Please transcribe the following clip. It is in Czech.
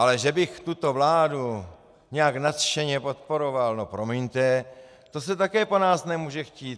Ale že bych tuto vládu nějak nadšeně podporoval, no promiňte, to se také po nás nemůže chtít.